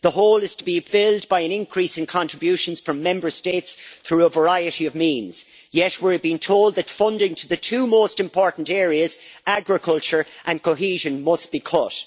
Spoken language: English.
The hole is to be filled by an increase in contributions from Member States through a variety of means, yet we're being told that funding to the two most important areas agriculture and cohesion must be cut.